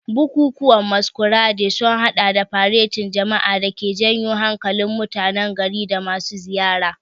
Bukukuwan Masquerade sun hada da faretin jama'a da ke janyo hankalin mutanen gari da masu ziyara.